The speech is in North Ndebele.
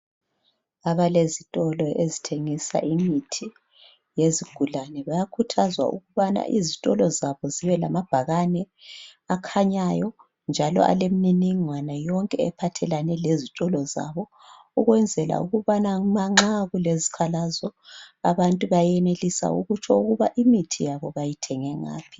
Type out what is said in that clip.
Abalezitolo ezithengisa imithi yezigulane bayakhuthazwa ukuthi izitolo zibelama bhakane akhanyayo alemininingwane yonke ephathelane lezitolo zabo ukwenzela ukuthi nxa kulezikhalazo abantu benelise ukutsho ukuthi imithi yabo bayithenge ngaphi